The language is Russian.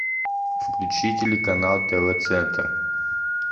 включи телеканал тв центр